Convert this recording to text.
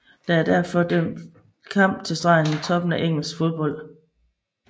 Der er derfor for alvor dømt kamp til stregen i toppen af engelsk fodbold